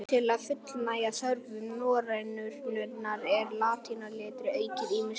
Til að fullnægja þörfum norrænunnar var latínuletrið aukið ýmislega.